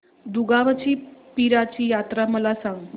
दुगावची पीराची यात्रा मला सांग